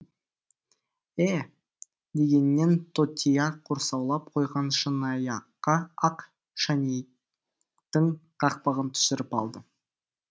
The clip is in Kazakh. ә дегеннен тотия құрсаулап қойған шыныаяққа ақ шайнектің қақпағын түсіріп алды